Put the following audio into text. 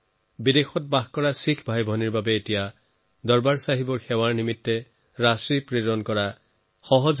আমাৰ প্ৰবাসী শিখ ভাইভনীসকলে এতিয়া আৰু সহজে দৰবাৰ চাহেবৰ সেৱাত ধন প্ৰেৰণ কৰিব পাৰিব